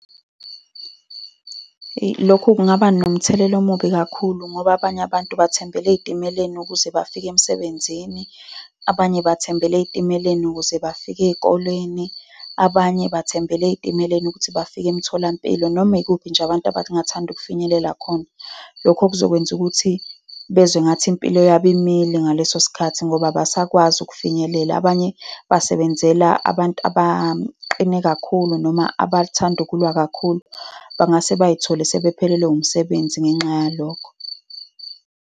Eyi, lokhu kungaba nomthelela omubi kakhulu ngoba abanye abantu bathembele ey'timeleni ukuze bafike emsebenzini, abanye bathembele ey'timeleni ukuze bafike ey'koleni abanye bathembele ey'timeleni ukuthi bafike emtholampilo, nomikuphi nje abantu abangathanda ukufinyelela khona. Lokho kuzokwenza ukuthi bezwe engathi impilo yabo imile ngaleso sikhathi, ngoba abasakwazi ukufinyelela. Abanye basebenzela abantu abaqine kakhulu, noma abathanda ukulwa kakhulu. Bangase bay'thole sebephelelwe umsebenzi. ngenxa yalokho.